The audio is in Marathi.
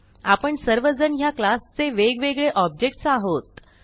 आपण सर्वजण ह्या क्लास चे वेगवेगळे ऑब्जेक्ट्स आहोत